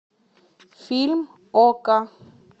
фильм окко